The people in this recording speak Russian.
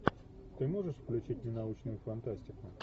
ты можешь включить ненаучную фантастику